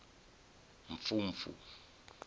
mfumfu